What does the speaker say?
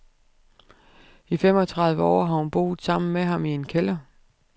I femogtredive år har hun boet sammen med ham i en kælder.